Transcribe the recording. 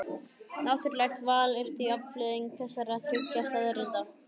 Náttúrlegt val er því afleiðing þessara þriggja staðreynda.